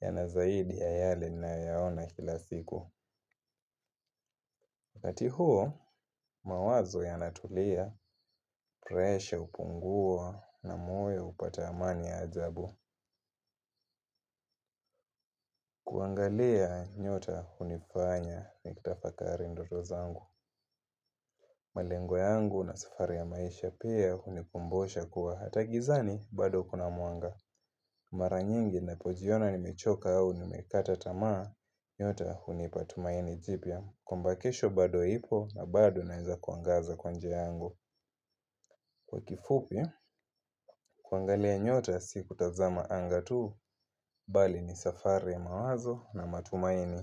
yana zaidi ya yale ninayoyaona kila siku. Wakati huo, mawazo yanatulia, presha hupungua na moyo hupata amani ya ajabu. Kuangalia nyota hunifanya nitafakari ndoto zangu. Malengo yangu na safari ya maisha pia hunikumbusha kuwa hata gizani bado kuna mwanga. Mara nyingi ninapojiona nimechoka au nimekata tamaa nyota hunipa tumaini jipya kwamba kesho bado ipo na bado naweza kuangaza kwa njia yangu kwa kifupi kuangalia nyota si kutazama anga tu. Bali ni safari ya mawazo na matumaini.